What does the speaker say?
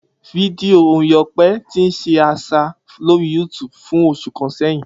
Fidio orin Ope ti n ṣe aṣa lori YouTube fun oṣu kan sẹhin.